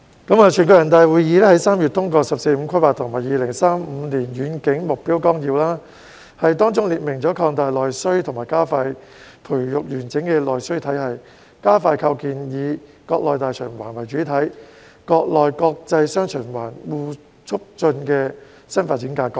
全國人民代表大會在3月通過"十四五"規劃和2035年遠景目標綱要，當中列明了擴大內需、加快培育完整的內需體系，以及加快構建"以國內大循環為主體、國內國際'雙循環'相互促進"的新發展格局。